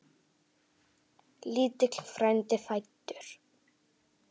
Lítill frændi fæddur.